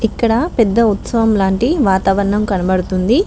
ఇక్కడ పెద్ద ఉత్సవం లాంటి వాతావరణం కనబడుతుంది.